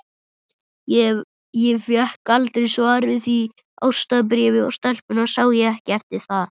Ég fékk aldrei svar við því ástarbréfi, og stelpuna sá ég ekki eftir það.